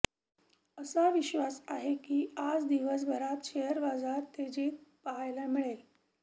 असा विश्वास आहे की आज दिवसभरात शेअर बाजार तेजीत पाहायला मिळेल